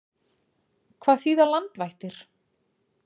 Hvað þýða landvættir?